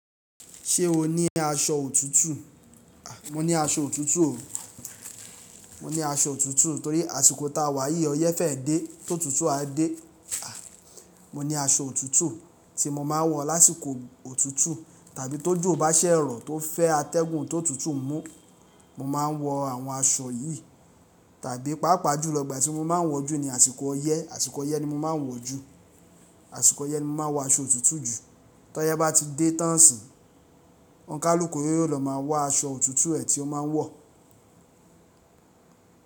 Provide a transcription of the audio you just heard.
Ṣé o ní aṣọ òtútù? Mo ní aṣọ òtútù o. Mo ní aṣọ òtútù torí àsìkò ta wà yí ọyẹ́ fẹ́ dé, tó tutù a dé. Mo ní aṣọ òtútù tí mo máa ń wọ̀ lásìkò òtútù tàbí tó jo bá ṣẹ̀ rọ̀ tó fẹ́ atẹ́gùn tó tutù mú, mo máa ń wọ àwọn aṣọ yìí. Tàbí pàápàá jù lọ igbà tí mo máa ń wọ̀ jù ni àsìkò ọyẹ́, àsìkò ọyẹ́ ni mo máa ń wọ̀ jù. Àsìkò ọyẹ́ ni mo máa ń wọ aṣọ òtútù jù. Tọyẹ́ bá ti dé tán sì, ọ̀ǹkálùkù yó yó lọ máa wọ aṣọ òtútù ẹ tí ó máa ń wọ̀.